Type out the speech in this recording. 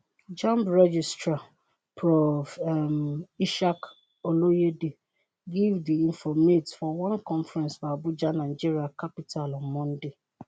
jamb registrar prof. um ishaq oloyede give di informate for one conference for abuja nigeria capital on monday.